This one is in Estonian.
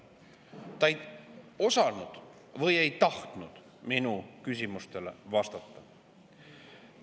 Ta ei osanud või ei tahtnud minu küsimusele vastata.